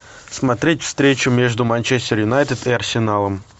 смотреть встречу между манчестер юнайтед и арсеналом